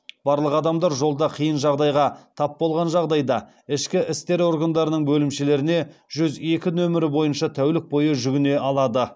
барлық адамдар жолда қиын жағдайға тап болған жағдайда ішкі істер органдарының бөлімшелеріне жүз екі нөмірі бойынша тәулік бойы жүгіне алады